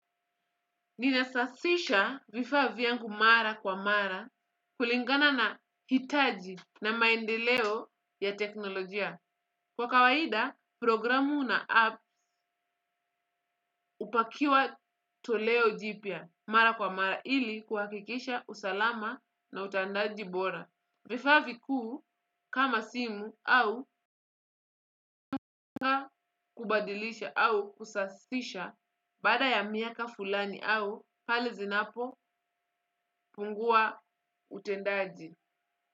Ninasafisha vifaa vyangu mara kwa mara kulingana na hitaji na maendeleo ya teknolojia. Kwa kawaida, programu na app upakiwa toleo jipia mara kwa mara ili kuhakikisha usalama na utandaji bora. Vifaa vikuu kama simu au kubadilisha au kusafisha baada ya miaka fulani au pale zinapopungua utendaji. Kwa hivyo.